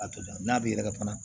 A to n'a bɛ yɛrɛkɛ fana